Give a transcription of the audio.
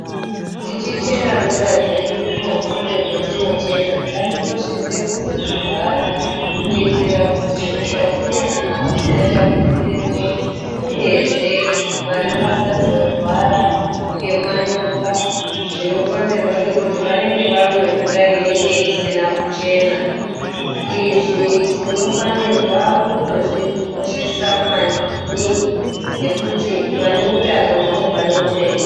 Tichichera mvura dzedu kumatsime kwetinochera, ngatikoshese kuzodzivhara kuitira kuti utachiwana husatapukiremwo uyezve vana vasazorwara ngemanyoka zvinokonzerwa ngekuti vanenge vamwe mvura inenge isina kuchena. Izvi tinofanirwa kutozvikoshesa maningi ngekuti pane utano ndipo pane upenyu.